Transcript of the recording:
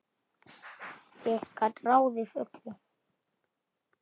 Ég gat ráðið öllu.